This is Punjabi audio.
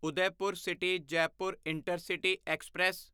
Udaipur city Jaipur intercity express